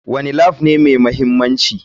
Wane Lab ne mai mahimmanci?